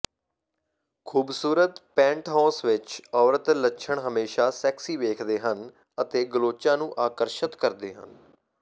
ਖੂਬਸੂਰਤ ਪੈਂਟੋਹੌਸ ਵਿੱਚ ਔਰਤ ਲੱਛਣ ਹਮੇਸ਼ਾ ਸੈਕਸੀ ਵੇਖਦੇ ਹਨ ਅਤੇ ਗਲੋਚਾਂ ਨੂੰ ਆਕਰਸ਼ਤ ਕਰਦੇ ਹਨ